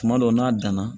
Kuma dɔ n'a danna